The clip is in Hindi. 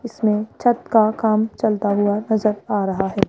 इसमें छत का काम चलता हुआ नजर आ रहा है।